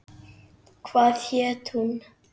Hvað hét hún?